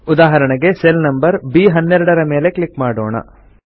ಉದಾಹರಣೆಗೆ cell number ಬ್12 ರ ಮೇಲೆ ಕ್ಲಿಕ್ ಮಾಡೋಣ